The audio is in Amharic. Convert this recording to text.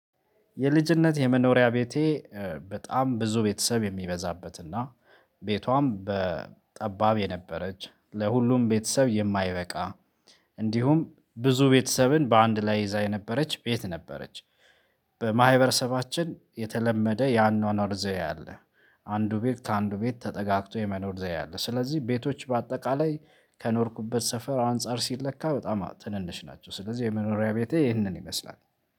የልጅነት የመኖሪያ ቤቴ በጣም ብዙ ቤተሰብ የሚበዛበትና ቤቷም በ ጠባብ የነበረች ለሁሉም ቤተሰብ የማይበቃ። እንዲሁም ብዙ ቤተሰብን በአንድ ላይ ይዛ የነበረች ቤት ነበረች። በማህበረሰባችን የተለመደ የአኗኗር ዘዬ አለ። አንዱ ቤት ከአንዱ ቤት ተጠጋግቶ የመኖር ዘይ አለ። ስለዚህ ቤቶች በአጠቃላይ ከኖርኩበት ሰፈር አንፃር ሲለካ በጣም ትንንሽ ናቸው ስለዚህ የመኖሪያ ቤቴ ይህንን ይመስላል።